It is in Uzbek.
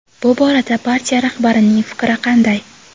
bu borada partiya rahbarining fikri qanday?.